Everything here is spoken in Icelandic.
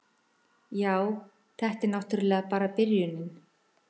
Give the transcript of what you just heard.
Já, þetta var náttúrlega bara byrjunin.